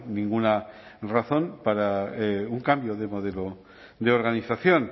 ninguna razón para un cambio de modelo de organización